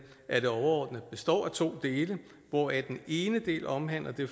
at det overordnet består af to dele hvoraf den ene del omhandler det